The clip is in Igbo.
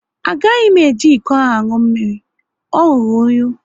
A gaghị m eji ịkọ ahụ aṅụ mmiri, o rụrụ unyi